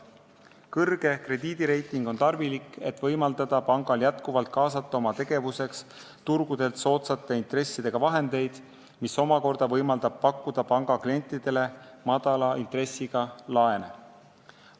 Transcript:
Kõrge krediidireiting on tarvilik, et pank saaks oma tegevuseks jätkuvalt kaasata turgudelt soodsate intressidega vahendeid, mis omakorda võimaldab panga klientidele madala intressiga laene pakkuda.